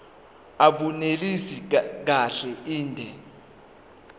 abunelisi kahle inde